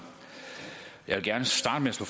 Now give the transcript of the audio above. så